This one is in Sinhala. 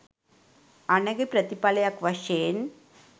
අනගි ප්‍රතිඵලයක් වශයෙන්